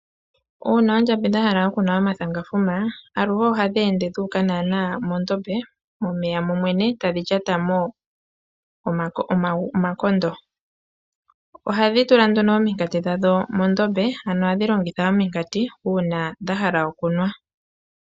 Uuna oondjamba dha hala okunwa omathangafuma aluhe ohadhi ende dhuuka mondombe momeya momwene etadhi lyatamo omakondo. Ohadhi tula nduno ominkati dhadho mondombe ano ohadhi longitha ominkati uuna dha hala okunwa.